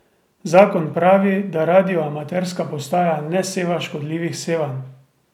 Zakon pravi, da radioamaterska postaja ne seva škodljivih sevanj.